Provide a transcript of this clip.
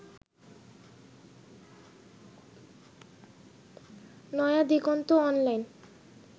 Naya Diganta online